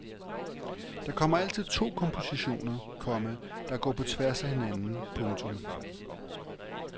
Der kommer altid to kompositioner, komma der går på tværs af hinanden. punktum